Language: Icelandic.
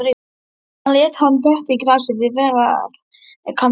Hann lét hann detta í grasið við vegarkantinn.